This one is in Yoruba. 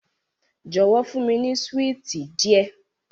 Jọwọ, fun mi ni suwiti diẹ